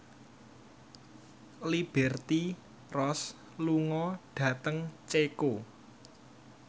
Liberty Ross lunga dhateng Ceko